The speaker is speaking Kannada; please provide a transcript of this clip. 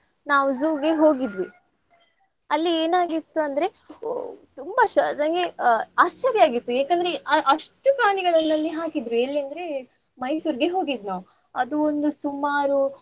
ನಾವು zoo ಇಗೆ ಹೋಗಿದ್ವಿ . ಅಲ್ಲಿ ಏನ್ ಆಗಿತ್ತು ಅಂದ್ರೆ ಓ ತುಂಬ ಶ~ ನಂಗೆ ಆಶ್ಚರ್ಯ ಆಗಿತ್ತು ಯಾಕಂದ್ರೆ ಅ~ ಅಷ್ಟು ಪ್ರಾಣಿಗಳನಲ್ಲಿ ಹಾಕಿದ್ರು ಎಲ್ಲಿ ಅಂದ್ರೆ ಮೈಸೂರ್ಗೆ ಹೋಗಿದ್ದು ನಾವ್. ಅದು ಒಂದು ಸುಮಾರು.